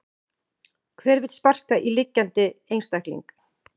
Hver vill sparka í liggjandi einstakling?